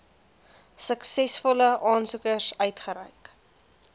suksesvolle aansoekers uitgereik